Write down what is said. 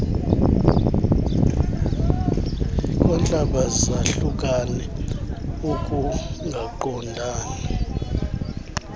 kwantlaba zahlukane ukungaqondani